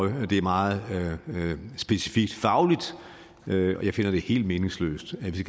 og det er meget specifikt fagligt jeg finder det helt meningsløst at vi